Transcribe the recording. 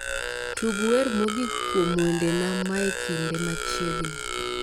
Tug wer mogik kuom wendena mae kinde machiegni